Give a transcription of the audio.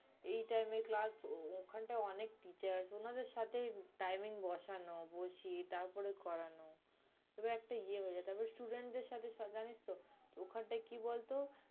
এই time এ class ওখানটায় অনেক teacher, উনাদের সাথে timing বসানো, বসিয়ে তারপর করানো। তবে একটা ইয়ে হয়ে যায়। তারপর student দের সাথে জানিস তো ওখানটায় কি বলতো